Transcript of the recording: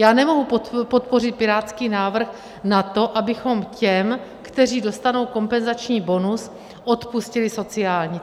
Já nemohu podpořit pirátský návrh na to, abychom těm, kteří dostanou kompenzační bonus, odpustili sociální.